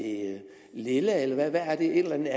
lilla eller er det et eller andet